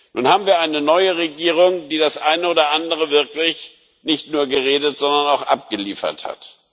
Nun haben wir eine neue Regierung, die das eine oder andere wirklich nicht nur geredet, sondern auch abgeliefert hat.